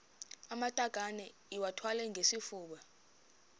amatakane iwathwale ngesifuba